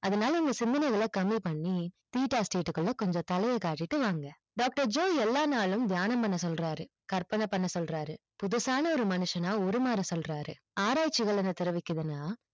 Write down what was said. அதனால இந்த சிந்தனைகள கம்மிபன்னி theta state குள்ள கொஞ்சம் தலைய காட்டிட்டு வாங்க doctor joo எல்லா நாளும் தியானம் பண்ண சொல்றாரு கற்பன பண்ண சொல்றாரு புதுசான ஒரு மனுஷனா உருமாற சொல்றாரு ஆராய்சிகள் என்ன தெரிவிக்குதுன்னா